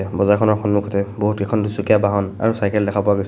বজাৰখনৰ সন্মুখতে বহুতকেইখন দুচকীয়া বাহন আৰু চাইকেল দেখা পোৱা গৈছে।